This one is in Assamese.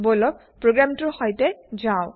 বোলক প্ৰগ্ৰেমটোৰ সৈতে যাওঁ